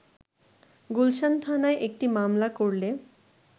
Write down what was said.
গুলশান থানায় একটি মামলা করলে